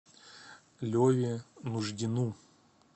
леве нуждину